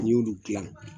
N'i y'olu dilan